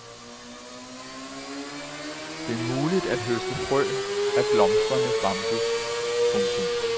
Det er muligt at høste frø af blomstrende bambus. punktum